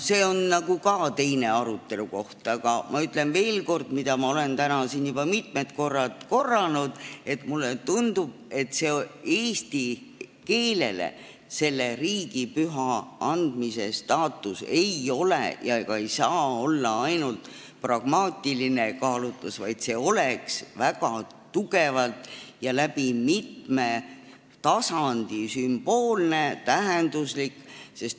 See on teise arutelu koht, aga ma ütlen veel kord seda, mida ma olen täna siin juba mitu korda korranud: mulle tundub, et eesti keelele riigipüha staatuse andmisel ei ole ega saa olla oluline ainult pragmaatiline kaalutlus, vaid see oleks väga tugevalt ja mitmel tasandil sümboolne ja tähenduslik.